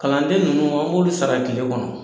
Kalanden ninnu an b'olu sara tile kɔnɔ.